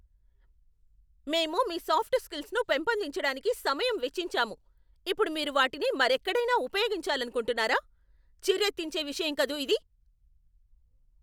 మేము మీ సాఫ్ట్ స్కిల్స్ను పెంపొందించడానికి సమయం వెచ్చించాము, ఇప్పుడు మీరు వాటిని మరెక్కడైనా ఉపయోగించాలనుకుంటున్నారా? చిర్రెత్తించే విషయం కదూ ఇది!